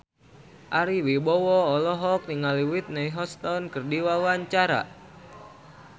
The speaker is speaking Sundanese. Ari Wibowo olohok ningali Whitney Houston keur diwawancara